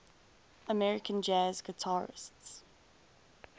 american jazz guitarists